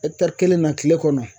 kelenna kile kɔnɔ